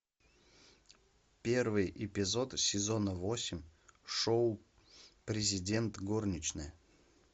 первый эпизод сезона восемь шоу президент горничная